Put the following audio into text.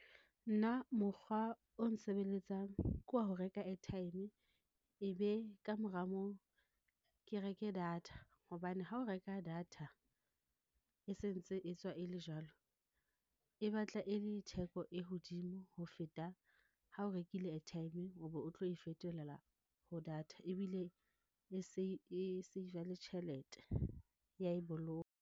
Nna mokgwa o nsebeletsang ke wa ho reka airtime, e be kamora moo ke reke data hobane ha o reka data e sentse e tswa e le jwalo, e batla e le theko e hodimo ho feta ha o rekile airtime o be o tlo e fetolela ho data ebile e save-a le tjhelete ya e boloka.